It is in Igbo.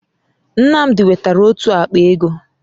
Nnamdi wetara otu àkpà égo